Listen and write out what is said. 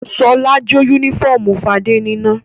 Ṣọlá jó únífọ́ọ́mù Fadé níná.